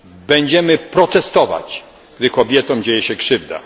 Będziemy protestować, gdy kobietom dzieje się krzywda.